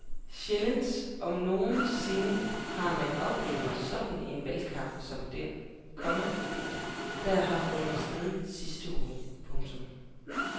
Sjældent om nogen sinde har man oplevet sådan en valgkamp som den, komma der har fundet sted de sidste uger. punktum